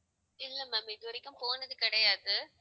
இல்ல ma'am இதுவரைக்கும் போனது கிடையாது